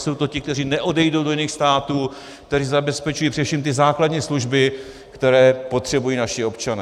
Jsou to ti, kteří neodejdou do jiných států, kteří zabezpečují především ty základní služby, které potřebují naši občané.